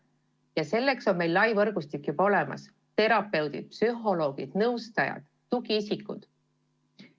Ja selleks on meil lai võrgustik olemas: terapeudid, psühholoogid, nõustajad, tugiisikud.